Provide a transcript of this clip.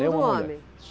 Tudo homem?